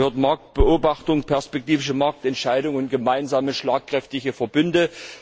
Dazu gehören Marktbeobachtung, perspektivische Marktentscheidungen und gemeinsame, schlagkräftige Verbünde.